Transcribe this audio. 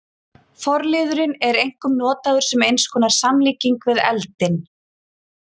Forliðurinn er einkum notaður sem eins konar samlíking við eldinn.